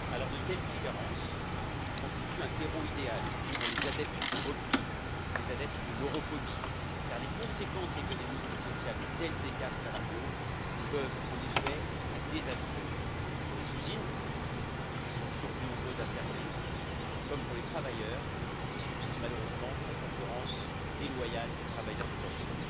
De telles différences constituent un terreau idéal pour les adeptes du repli, les adeptes de l'europhobie, car les conséquences économiques et sociales de tels écarts salariaux peuvent être désastreuses pour les usines, qui sont toujours plus nombreuses à fermer, comme pour les travailleurs qui subissent, malheureusement, la concurrence déloyale de travailleurs détachés.